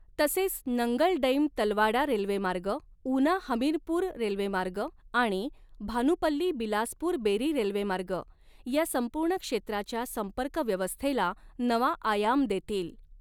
तसेच Nangal dam Talwara railway मार्ग, Una Hamirpur railway मार्ग आणि भानुपल्ली बिलासपुर बेरी रेल्वे मार्ग या सम्पूर्ण क्षेत्राच्या संपर्क व्यवस्थेला नवा आयाम देतील.